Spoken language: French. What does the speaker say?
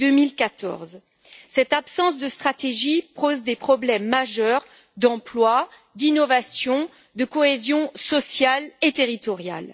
et 2014. Cette absence de stratégie pose des problèmes majeurs d'emploi, d'innovation, ainsi que de cohésion sociale et territoriale.